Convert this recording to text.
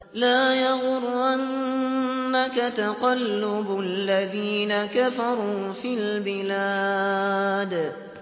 لَا يَغُرَّنَّكَ تَقَلُّبُ الَّذِينَ كَفَرُوا فِي الْبِلَادِ